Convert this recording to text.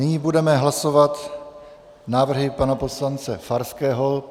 Nyní budeme hlasovat návrhy pana poslance Farského.